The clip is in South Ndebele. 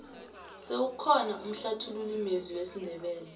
sewukhona umhlathululi mezwi wesindebele